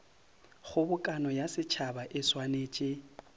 kgobokano ya setšhaba e swanetše